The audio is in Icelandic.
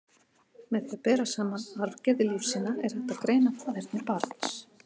Með því að bera saman arfgerðir lífsýna, er hægt að greina faðerni barns.